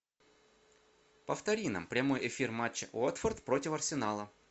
повтори нам прямой эфир матча уотфорд против арсенала